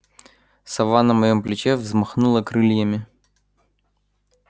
сова на моём плече взмахнула крыльями